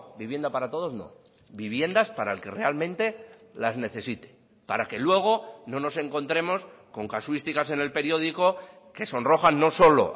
vivienda para todos no viviendas para el que realmente las necesite para que luego no nos encontremos con casuísticas en el periódico que sonrojan no solo